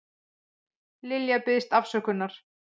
Lilja biðst afsökunar